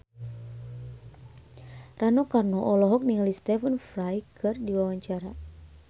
Rano Karno olohok ningali Stephen Fry keur diwawancara